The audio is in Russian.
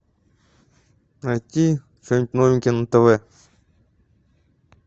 найти что нибудь новенькое на тв